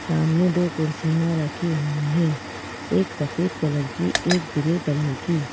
सामने दो कुर्सियां रखी हुई हैं एक सफेद कलर की एक ग्रे कलर की।